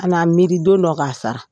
A na miiri don dɔ k'a sara.